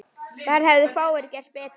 Þar hefðu fáir gert betur.